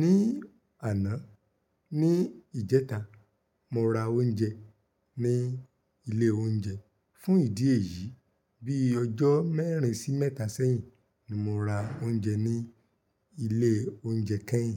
Ní àná, ní ìjẹta, mo ra oúnjẹ ní ilé oúnjẹ. Fún ìdí èyí, bí ọjọ́ mẹ́rin sí mẹ́ta sẹ́yìn ni mo ra oúnjẹ ní ilé oúnjẹ kẹ́yìn.